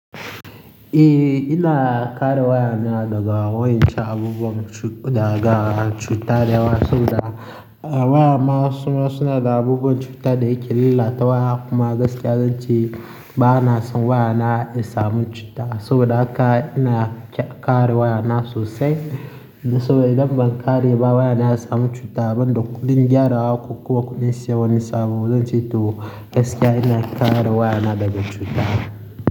Eh ina kare wayana daga wayancen abubuwan cu-- daga cutar da yawa saboda waya masu ma suna da abubuwan cuta da yake lillata waya kuma gaskiya zan ce ba na son wayana ya samu cuta saboda haka ina kare wayana sosai. Saboda idan ban kare ba wayana ya samu cuta ban dauka ni gyara wa ko kuma ku nesi wani sabo. Zan ce to gaskiya ina kare wayana daga cuta.